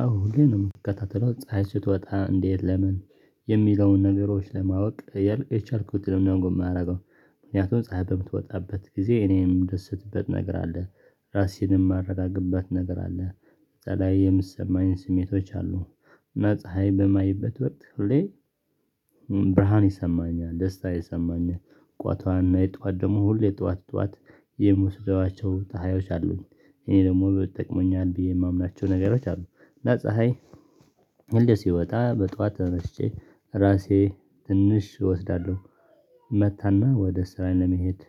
አዎ ሁሌ ነው የምከታተለው ፀሀይ ስትወጣ እንዴት ለምን የሚለውን ነገሮች ለማወቅ እያልሁ የቻልኩትንም ነው የማደርገው። ምክንያቱም ፀሀይ በምትወጣበት ጊዜ እኔ ምደሰትበት ነገር አለ፤ ራሴንም የማረጋግበት ነገር አለ በተለይ የምሰማኝ ስሜቶች አሉ። መፀሀይ በማይበት ወቅት ሁሌ ብርሃን ይሰማኛል ደስታ ይሰማኛል። ቋቷና የጧት ደግሞ ሁሌ ጧት ጧት የምወስደዋቸው ጠሃዮች አሉኝ እኔ ደግሞ ብጠቅመኛል ብዬ የማምናቸው ነገሮች አሉ። ፀሀይ ሁሌ ሲወጣ በጧት ተነስቼ ራሴ ትንሽ እወስዳለሁ፤። እመታና ወደ ስራ ለመሄድ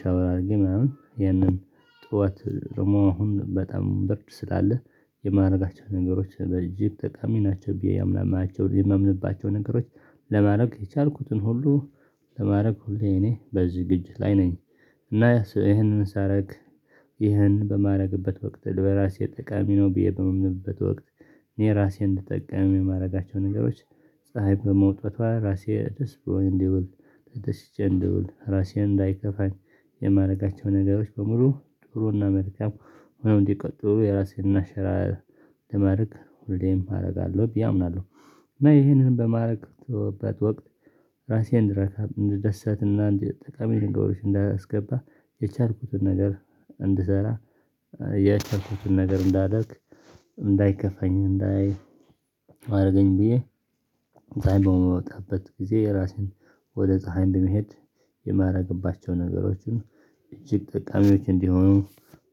ሻወር አድርጊ ምናምን ይህንን ጥወት ደሞ አሁን በጣም ብርድ ስላለ የማደርጋቸው ነገሮች በእጅግ ጠቃሚ ናቸው ብዬ ያምናማቸው የምምንባቸው ነገሮች ለማድረግ የቻልኩትን ሁሉ ለማድረግ ሁሌ እኔ በዚህ ዝግጅት ላይ ነኝ። እና ይሄንን ሳረግ ይሄን በማድረግበት ወቅት ልበራሴ ጠቃሚ ነው ብዬ በማምንበት ወቅት። እኔ ራሴን እንድጠቀም የማደርጋቸው ነገሮች ፀሀይ በመውጣቷ ራሴ ደስ ብሎኝ እንዲውል ተደስሽቼ እንዲውል ራሴን እንዳይከፋኝ የማደርጋቸው ነገሮች በሙሉ ጥሩና መልካም ሆነው እንዲቀጥሉ የራሴን እና ሽራ ለማድረግ ሁሌም አደርጋለሁ ብዬ አምናለሁ። እና ይሄንን በማድረግበት ወቅት ራሴን እንድረካ እንደደሰትና እንደ ጠቃሚ ንግግሮች እንዳላስገባ የቻልኩትን ነገር እንድሰራ። የቻልኩትን ነገር እንዳደርግ እንዳይከፋኝ እንዳይ አደረገኝ ብዬ ጠሃይ በምወጣበት ጊዜ ራሴን ወደ ፀሀይ በመሄድ የማደርግባቸው ነገሮችን እጅግ ጠቃሚዎች እንዲሆኑ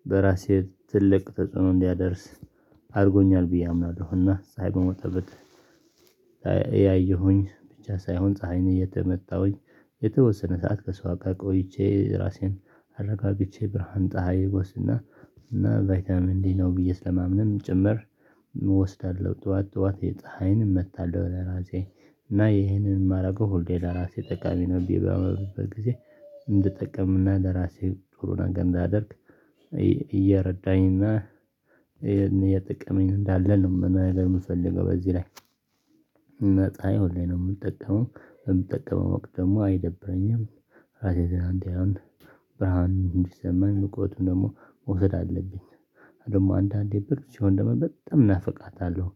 በራሴ ትልቅ ተጽዕኖ እንዲያደርስ አድርጎኛል ብዬ አምናለሁ። እና ፀሀይ በሚወጣበት ያየሁኝ ብቻ ሳይሆን ፀሀይን እየተመታሁኝ የተወሰነ ሰዓት ከሷ እጋ ቆይቼ ራሴን አረጋግቼ ብርሃን ፀሀይ ጎስና እና ቫይታምን ዲ ነው ብዬ ስለማምንም ጭምር። እወስዳለሁ ጠዋት ጠዋት የፀሀይን እመታለሁ ለራሴ እና ይሄንን የማደርገው ሆሌ ለራሴ ጠቃሚ ነው ብዬ በማባመብበት ጊዜ እንድጠቅምና ለራሴ ጥሩ ነገር እንዳደርግ። እየረዳኝና የጥቅመኝ እንዳለ ነው ለምፈልገው በዚህ ላይ ነፃ ይሁን ላይ ነው የምጠቀመው በምጠቀመው ወቅት ደግሞ አይደብረኝም። ራሴ ዘላንቲያውን ብርሃን እንዲሰማን ንቁዎቱን ደግሞ መውሰድ አለብኝ። አይደል አንዳንዴ ብር ሲሆን ደግሞ በጣም እናፍቃታለሁ፤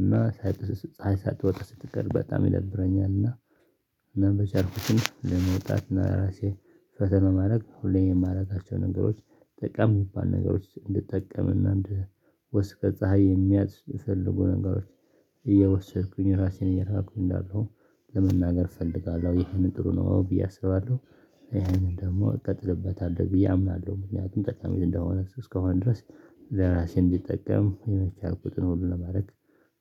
እና ፀሀይ ሳትወጣ ስትቀር በጣም ይደብረኛል። እና እናም በቻልኩትም ለመውጣት እና ለራሴ ፈተና ማድረግ ሁሌም የማደርጋቸው ነገሮች ጠቀም የሚባል ነገሮች እንድትጠቀም እና እንድትወስድ ከፀሀይ የሚያስ ፈልጉ ነገሮች እየወሰድኩኝ ራሴን እየራኩኝ እንዳለው ለመናገር እፈልጋለሁ ይሄንን ጥሩ ነው አዎ ብዬ አስባለሁ። ይሄንን ደግሞ እቀጥልበታለሁ ብዬ አምናለሁ ምክንያቱም ጠቃሚ እንደሆነ እስከሆነ ድረስ ለራሴ እንዲጠቀም የመቼ አርኩትን ሁሉ ለማረግ